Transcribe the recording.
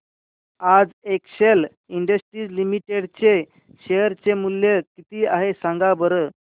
आज Excel Industries Limited चे share चे मूल्य किती आहे सांगा बरं